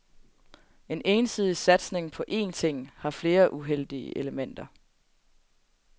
En ensidig satsning på én ting, har flere uheldige elementer.